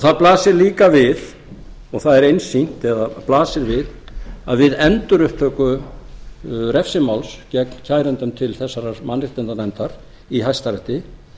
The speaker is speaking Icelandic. það blasir líka við og það er einsýnt eða blasir við að við endurupptöku refsimáls gegn kærendum til þessarar mannréttindanefndar í hæstarétti